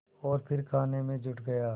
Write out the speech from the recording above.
और फिर खाने में जुट गया